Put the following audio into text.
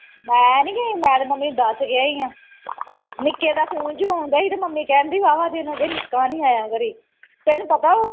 ਮੈਂ ਨਹੀਂ ਗਈ ਮੈਂ ਤੇ ਮੰਮੀ ਨੂੰ ਦੱਸ ਕੇ ਆਈਆਂ ਨਿੱਕੇ ਦਾ phone ਜੋ ਆਉਦਾ ਸੀ ਤੇ ਮੰਮੀ ਕਹਿੰਦੀ ਵਾਹਵਾ ਦਿਨ ਹੋਗੇ ਨਿੱਕਾ ਨਹੀਂ ਆਇਆ ਕਦੀ ਤੈਨੂੰ ਪਤਾ ਉਹ